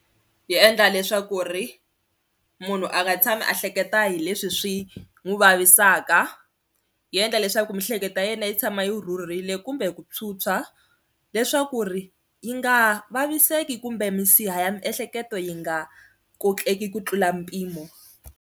Yi endla leswaku ri munhu a nga tshami a hleketa hi leswi swi n'wi vavisaka, yi endla leswaku miehleketo ya yena yi tshama yi rhurhile kumbe ku phyuphya leswaku ri yi nga vaviseki kumbe misiha ya miehleketo yi nga kokeki ku tlula mpimo.